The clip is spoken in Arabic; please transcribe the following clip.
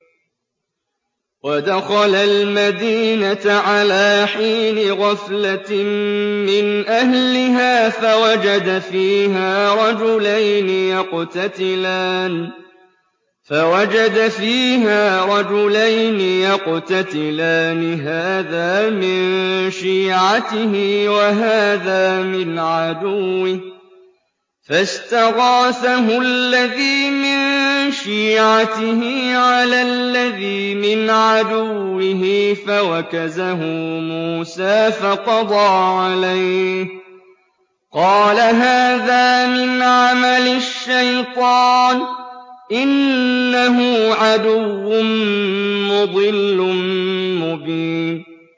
وَدَخَلَ الْمَدِينَةَ عَلَىٰ حِينِ غَفْلَةٍ مِّنْ أَهْلِهَا فَوَجَدَ فِيهَا رَجُلَيْنِ يَقْتَتِلَانِ هَٰذَا مِن شِيعَتِهِ وَهَٰذَا مِنْ عَدُوِّهِ ۖ فَاسْتَغَاثَهُ الَّذِي مِن شِيعَتِهِ عَلَى الَّذِي مِنْ عَدُوِّهِ فَوَكَزَهُ مُوسَىٰ فَقَضَىٰ عَلَيْهِ ۖ قَالَ هَٰذَا مِنْ عَمَلِ الشَّيْطَانِ ۖ إِنَّهُ عَدُوٌّ مُّضِلٌّ مُّبِينٌ